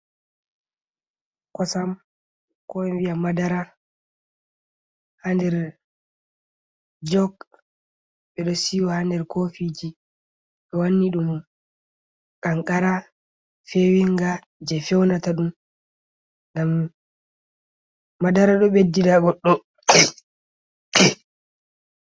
Kosam ko en vi'ata madara ha nder jok ɓeɗo siwa ha nder kofiji ɓe wanni ɗum kankara fewinga je feunata ɗum ngam madara ɗo beddi na goɗɗo.